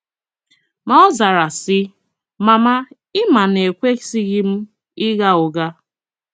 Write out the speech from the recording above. Ma ọ zara, sị, “ Mama ị ma na ekwesịghị m ịgha ụgha.